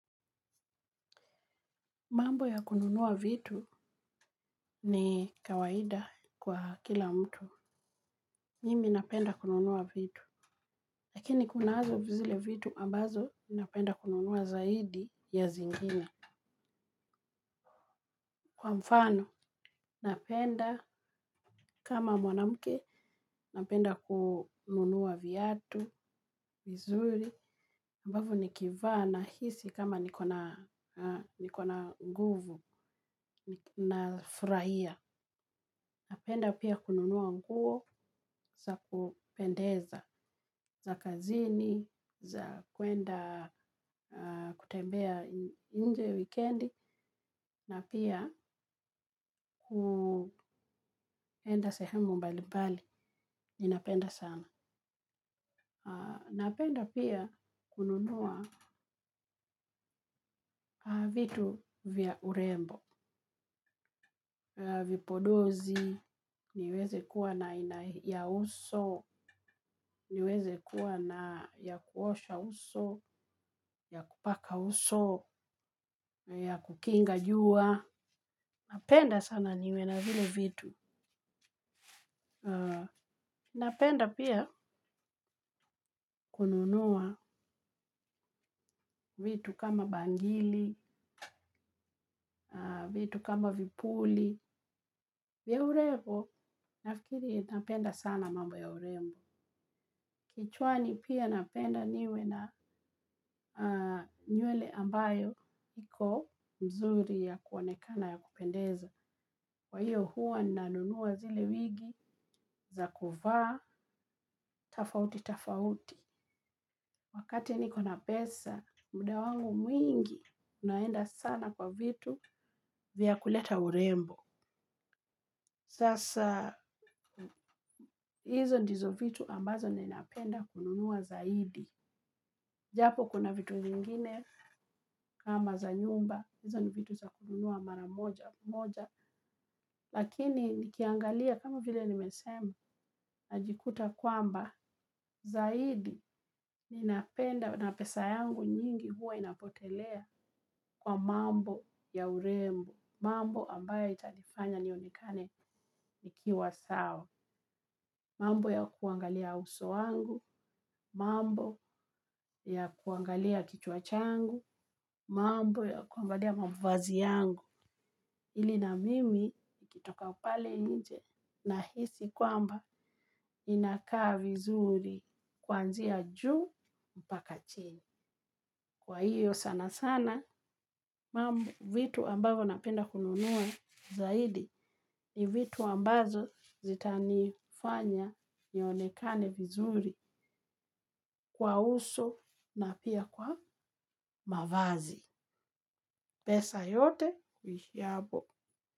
Mambo ya kununua vitu ni kawaida kwa kila mtu. Mimi napenda kununua vitu. Lakini kunazo vizile vitu ambazo napenda kununua zaidi ya zingine. Kwa mfano, napenda kama mwanamke, napenda kununua viatu, vizuri. Mbavyo nikivaa na. Hisi kama nikona nguvu, na furahia. Napenda pia kununua nguo za kupendeza za kazini, za kuenda kutembea nje wikendi na pia kuenda sehemu mbali mbali ninapenda sana. Napenda pia kununua vitu vya urembo, vipodozi, niweze kuwa naina ya uso, niweze kuwa na ya kuosha uso, ya kupaka uso, ya kukinga jua. Napenda sana niwe na zile vitu. Napenda pia kununua vitu kama bangili, vitu kama vipuli. Vya urembo, nafikiri napenda sana mambo ya urembo. Kichwani pia napenda niwe na nywele ambayo iko mzuri ya kuonekana ya kupendeza. Kwa hiyo huwa nanunua zile wigi za kuvaa, tafauti, tafauti. Wakati niko na pesa, muda wangu mwingi, unaenda sana kwa vitu vya kuleta urembo. Sasa, hizo ndizo vitu ambazo ninapenda kununua zaidi. Japo kuna vitu zingine kama za nyumba, hizo ni vitu za kununua mara moja, moja. Lakini, ukiangalia kama vile nimesema, najikuta kwamba zaidi ninapenda na pesa yangu nyingi huwa inapotelea kwa mambo ya urembo, mambo ambayo itanifanya ni onekane ikiwa sawa, mambo ya kuangalia uso wangu, mambo ya kuangalia kichwa changu, mambo ya kuangalia mavazi yangu, ili na mimi ikitoka pale nje na hisi kwamba inaka vizuri kuanzia juu mpaka chini. Kwa hiyo sana sana mamu vitu ambavo napenda kununua zaidi ni vitu ambazo zitanifanya nionekane vizuri kwa uso na pia kwa mavazi. Pesa yote huishiapo.